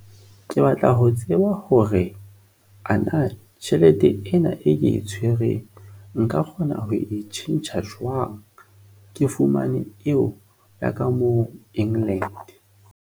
Ke batla ho tseba hore ana tjhelete ena e ke e tshwereng. Nka kgona ho e tjhentjha jwang ke fumane eo ya ka moo England?